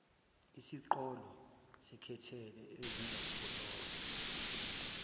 isiqholo sekhethelo engizoziqhola